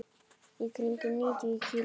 Í kringum níutíu kíló.